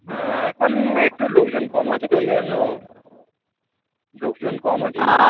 হ্যাঁ এখন একটু লোকজন কম আছেতো ওই জন্য, লোকজন কম আছে